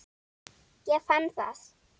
Ég fann það!